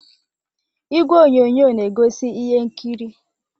Igwe onyonyo na egosi ihe nkiri.